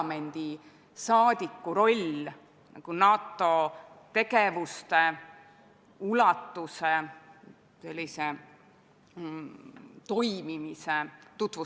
Nimelt, Oudekki Loonest on olnud juba juttu, kuid ühtlasi on meil ettepanek arvata delegatsiooni koosseisust välja delegatsiooni liige Sven Sester ja nimetada delegatsiooni liikmeks Andres Metsoja, samuti arvata delegatsiooni koosseisust välja delegatsiooni asendusliige Sven Mikser ja nimetada delegatsiooni asendusliikmeks Jevgeni Ossinovski.